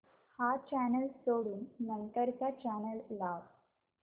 हा चॅनल सोडून नंतर चा चॅनल लाव